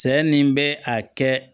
Cɛ ni bɛ a kɛ